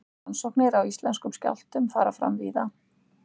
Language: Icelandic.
Rannsóknir á íslenskum skjálftum fara fram víða.